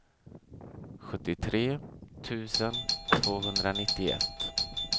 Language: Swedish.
sjuttiotre tusen tvåhundranittioett